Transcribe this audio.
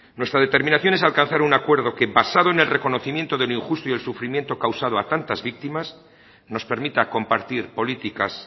nuestra determinación es alcanzar un acuerdo que basado en el reconocimiento de lo injusto y el sufrimiento causado a tantas víctimas nos permita compartir políticas